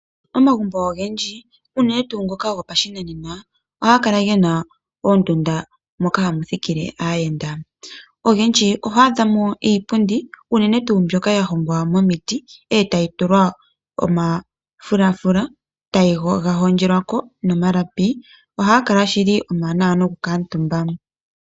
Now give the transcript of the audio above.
Omagumbo ogendji unene tuu ngoka gopashinanena ohaga kala gena oondunda moka hamu thikile aayenda ogendji ohwaa dhamo iipundi ya landelwamo unene tuu mbyoka ya hongwa momiti eta yi tulwa omafulafula taga hondjelwako nomalapi ohaga kala shili omawanawa noku kuutumba .